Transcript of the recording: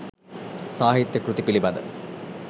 සාහිත්‍ය කෘති පිළිබඳ